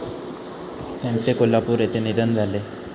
त्यांचे कोल्हापूर येथे निधन झाले.